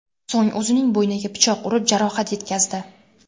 So‘ng o‘zining bo‘yniga pichoq urib, jarohat yetkazdi.